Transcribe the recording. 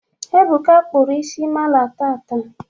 Ebuka kpụrụ isi mala taata.